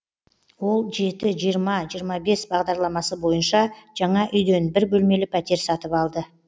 ол жеті жиырма жиырма бес бағдарламасы бойынша жаңа үйден бір бөлмелі пәтер сатып алды